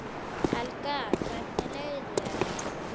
Helga: Hvernig leið þér?